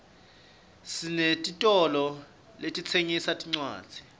sinetitolo letitsengisa tincwadzi